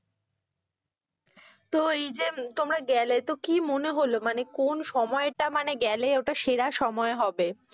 তো এই যে তোমরা গেলে তো কি মনে হলো মানে কোন সময়টা মানে গেলে ওটা সেরা সময় হবে?